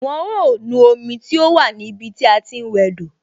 Wọn ó nu omi tó wà ní ibi tí a ti ń wẹ do